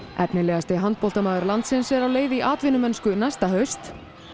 efnilegasti handboltamaður landsins er á leið í atvinnumennsku næsta haust